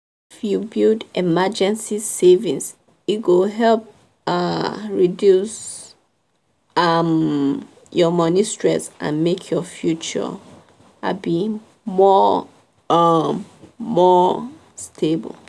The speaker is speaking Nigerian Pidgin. if you build emergency savings e go help um reduce um your money stress and make your future um more um more stable.